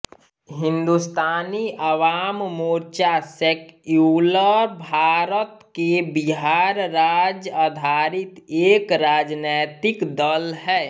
हिंदुस्तानी Awam Morcha secular Bharat के बिहार राज्य आधारित एक राजनैतिक दल है